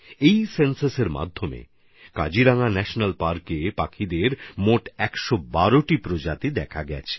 এই সেন্সাসের সময় কাজিরাঙ্গা ন্যাশনাল পার্কে পাখির প্রায় একশ বারোটি প্রজাতি দেখা গেছে